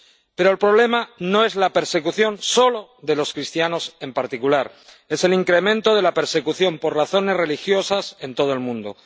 Pero el problema no es la persecución solo de los cristianos en particular es el incremento de la persecución por razones religiosas en todo el mundo.